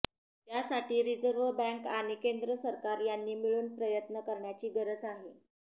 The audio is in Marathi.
त्यासाठी रिझर्व्ह बँक आणि केंद्र सरकार यांनी मिळून प्रयत्न करण्याची गरज आहे